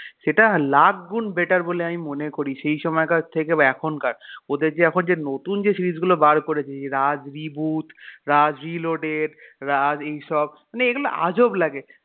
সেটা না লাখ গুন better আমি মনে করি সেই সময়কার থেকে বা এখনকার ওদের যে এখন যে নতুন যে series গুলো বার করেছে রাজ reboot রাজ reloaded রাজ এইসব মানে এগুলো আজব লাগে.